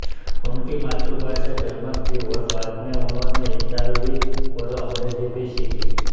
उनकी मातृभाषा जर्मन थी और बाद में उन्होंने इतालवी और अंग्रेजी भी सीखी